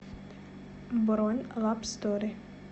бронь лабстори